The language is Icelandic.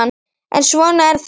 En svona er þetta!